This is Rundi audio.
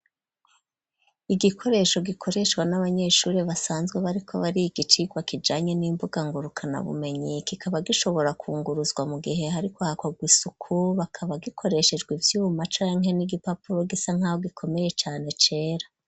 Igikoresho gikoreshwa n'abanyeshuri basanzwe bariko bariga icirwa kijanye n'imbuga ngurukana bumenyi, kikaba gishobora kunguruzwa mu gihe hariko hakorwa isuku, bakaba gikoreshejwe ivyuma canke n'igipapuro gisa nkaho gikomeye cane cera.